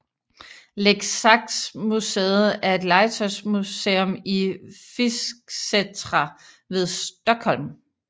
Leksaksmuseet er et legetøjsmuseum i Fisksätra ved Stockholm